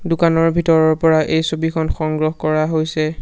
দোকানৰ ভিতৰৰ পৰা এই ছবিখন সংগ্ৰহ কৰা হৈছে।